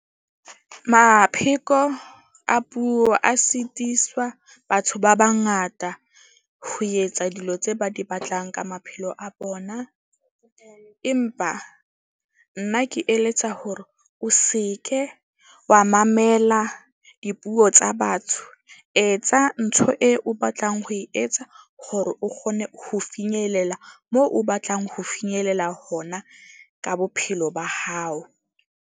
Mapheko a puo a sitiswa batho ba bangata ho etsa dilo tse ba di batlang ka maphelo a bona. Empa nna ke eletsa hore o seke wa mamela dipuo tsa batho. Etsa ntho e o batlang ho e etsa hore o kgone ho finyelela moo o batlang ho finyelela hona ka bophelo ba hao.